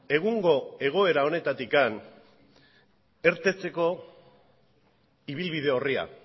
egungo egoera honetatik irteteko ibilbide orria